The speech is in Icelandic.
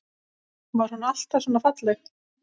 Var hún alltaf svona falleg?